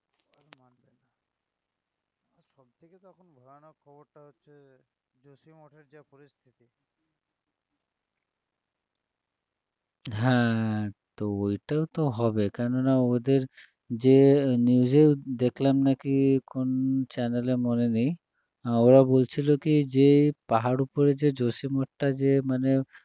হ্যাঁ তো ওয়িটাও তো হবে কেননা ওদের যে news এও দেখলাম নাকি কোন channel এ মনে নেই ওরা বলছিল কী যে পাহাড়ের উপরে যে জসী মঠটা যে মানে